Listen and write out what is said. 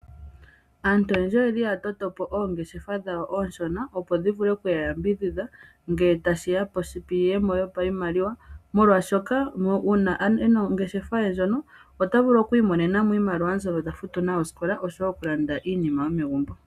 Aantu oyendji oye li ya tota oongeshefa dhawo oonshona, opo dhi vule oku ya yambidhidha ngele tashiya piiyemo yopashimaliwa. Omuntu mokukala e na ongeshefa ye ndjoka nena ota vulu okwiimonena mo iimaliwa yokufuta osikola nosho wo yokulanda iipumbiwa yomegumbo.